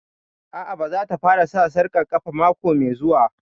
A'a, ba za ta fara sa sarƙar ƙafa mako mai zuwa